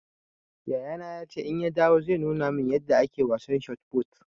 Yayana ya ce in ya dawo zai nuna man yanda ake wasan shot fut